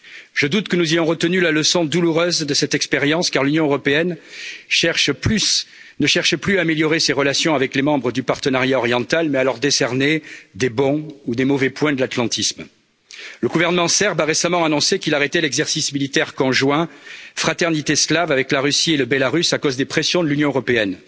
Je doute que nous ayons retenu la leçon douloureuse de cette expérience, car l'Union européenne ne cherche plus à améliorer ses relations avec les membres du Partenariat oriental, mais à leur décerner de bons ou de mauvais points de l'atlantisme. Le gouvernement serbe a récemment annoncé qu'il arrêtait l'exercice militaire conjoint Fraternité slave avec la Russie et la Biélorussie, à cause des pressions de l'Union européenne.